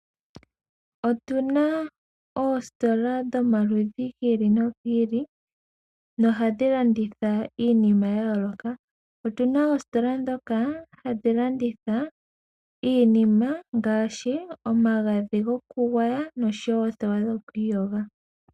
Otuna oositola dhomaludhi gi ili nogi ili no ohadhi landitha iinima yayooloka. Otuna oositola dhoka hadhi landitha iinima ngaashi omagadhi gokugwaya noothewa dhokwiikosha.